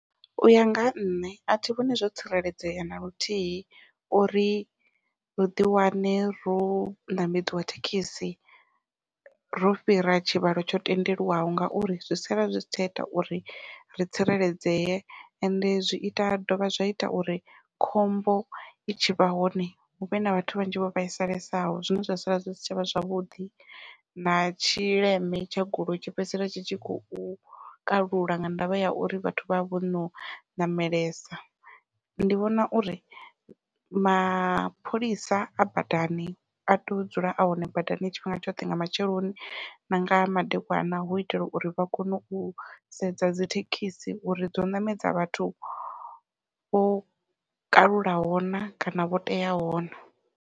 Uya nga ha nṋe athi vhoni zwo tsireledzea naluthihi uri ri ḓi wane ro ṋamedziwa thekhisi ro fhira tshivhalo tsho tendelwaho, ngauri zwi sala zwi si tsha ita uri ri tsireledzee ende zwi ita zwi dovha zwa ita uri khombo i tshi vha hone huvhe na vhathu vhanzhi vho vhaisalesaho zwine zwa sala zwi si tshavha zwavhuḓi. Na tshileme tsha goloi tshi fhedzisela tshi tshi khou kalula nga ndavha ya uri vhathu vha vha vhono ṋamelesa ndi vhona uri mapholisa a badani a tea u dzula a hone badani tshifhinga tshoṱhe nga matsheloni na nga madekwana hu itela uri vha kone u sedza dzithekhisi uri dzo ṋamedza vhathu vho kalulaho na kana vho teaho na.